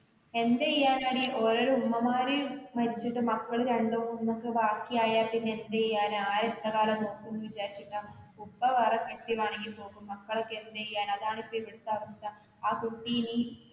എന്ത് ചെയ്യനാടി ഓരോരോ ഉമ്മമ്മാര് മരിച്ചിട്ട് മക്കള് രണ്ടുമൂന്നൊക്കെ ബാക്കി അയപ്പിന്നെ എന്തുചെയ്യാനാ ആരെത്രകാലം നോക്കുന്ന് വിചാരിച്ചിട്ടാ ഉപ്പ വേറെ കെട്ടിയതാണേല് പോകും. മക്കളൊക്കെ എന്തുചെയ്യാനാ അതാണ് ഇപ്പൊ ഇവിടുത്തെ അവസ്ഥാ.